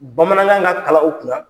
Bamanankan ka kalan u kunna.